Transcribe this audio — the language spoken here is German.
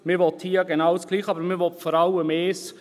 Man will hier genau das Gleiche, aber man will vor allem eines: